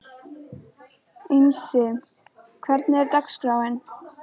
Einsi, hvernig er dagskráin?